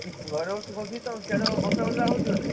ଘରେ ବସିଚୁ କଣ କି ତମ ସାଡେ ବର୍ଷା ଫର୍ଷା ହଉଛି ବୋଧେ?